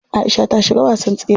Aisha ta shiga wasan tsere.